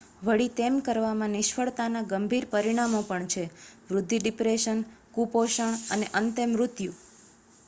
વળી તેમ કરવામાં નિષ્ફળતાના ગંભીર પરિણામો પણ છે વૃદ્ધિ ડિપ્રેશન કુપોષણ અને અંતે મૃત્યુ